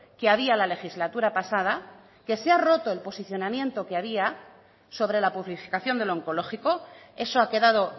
que había la legislatura pasada que se ha roto el posicionamiento que había sobre la publificación del onkologiko eso ha quedado